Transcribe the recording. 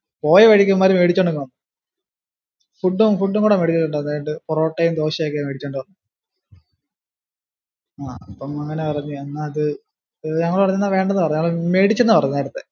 പോയ വഴിക്കു ഇവന്മാര് മേടിച്ചോണ്ടു അങ്ങ് വന്നു food ഉം ഫുഡ് ഉം കുടി മേടിച്ചു food ഉം കുടി മേടിച്ചു അതായതു പൊറോട്ടയും ദോശയും ഒക്കെ മേടിച്ചോണ്ടു വന്നു ആഹ് അപ്പം അങ്ങിനെ പറഞ്ഞു. ഞങ്ങള് പറഞ്ഞെന്നാ വേണ്ടെന്ന് പറഞ്ഞു മേടിച്ചെന്നു പറഞ്ഞു നേരത്തെ.